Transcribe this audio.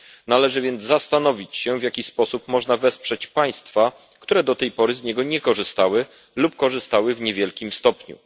Należy więc zastanowić się, w jaki sposób można wesprzeć państwa, które do tej pory z niego nie korzystały lub korzystały w niewielkim stopniu.